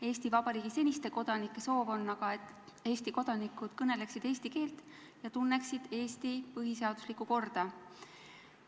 Eesti Vabariigi seniste kodanike soov on aga, et Eesti kodanikud kõneleksid eesti keelt ja tunneksid Eesti põhiseaduslikku korda.